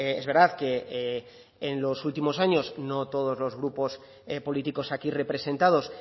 es verdad que en los últimos años no todos los grupos políticos aquí representados